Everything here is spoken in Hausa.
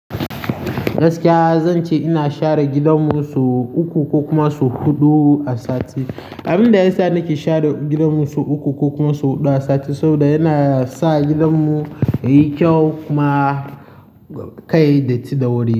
Gaskiya zan ce ina share gidanmu sau uku ko kuma sau huɗu a sati. Abin da yasa nake share gidanmu sau uku ko kuma sau huɗu a sati saboda yana sa gidanmu yayi kyau kuma kai da ci da wuri.